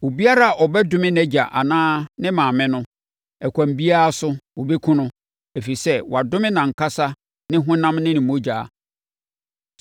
“ ‘Obiara a ɔbɛdome nʼagya anaa ne maame no, ɛkwan biara so wɔbɛkum no, ɛfiri sɛ, wadome nʼankasa ne honam ne ne mogya.